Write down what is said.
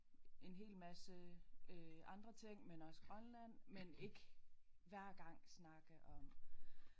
En hel masse øh andre ting men også Grønland men ikke hver gang snakke om